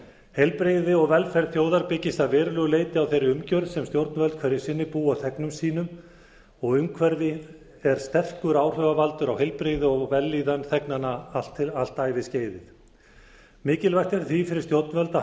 heilbrigði og velferð þjóða byggist að verulegu leyti á þeirri umgjörð sem stjórnvöld hverju sinni búa þegnum sínum og umhverfi er sterkur áhrifavaldur á heilbrigði og vellíðan þegnanna allt æviskeiðið mikilvægt er því fyrir stjórnvöld að